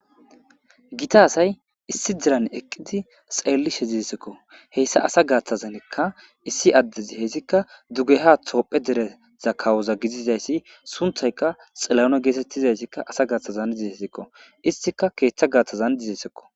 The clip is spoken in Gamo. gita asay issi diran eqqidi xeellishe dizesikko heyssa asa gaaththazanekka issi addezi heyssikka duggeha toophe dereza kawoza gidizayssi sunthayka xillano geetettizayssikka asa gaaththazan dizesikko istika keeththa gaaththazan dizesekko